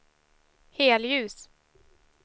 helljus